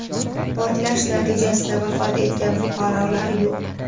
portlash natijasida vafot etgan fuqarolar yo‘q.